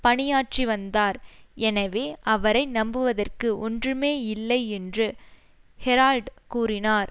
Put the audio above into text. பணியாற்றி வந்தார் எனவே அவரை நம்புவதற்கு ஒன்றுமே இல்லைஎன்று ஹெரால்டு கூறினார்